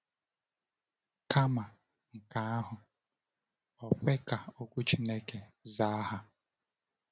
Kama nke ahụ, o kwe ka Okwu Chineke zaa ha.